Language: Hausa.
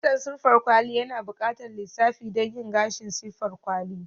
kitson siffar kwali yana buƙatar lissafi don yin gashi siffar kwali.